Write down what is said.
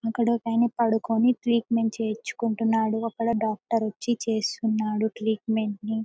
అక్కడ ఒక ఆయన పడుకొని ట్రీట్మెంట్ చేయించుకుంటునాడు అక్కడ డాక్టర్వ వచ్చి చేస్తున్నాడు ట్రీట్మెంట్ ని .